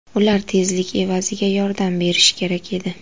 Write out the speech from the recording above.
Ular tezlik evaziga yordam berishi kerak edi.